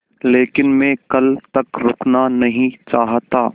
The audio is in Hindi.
लेकिन मैं कल तक रुकना नहीं चाहता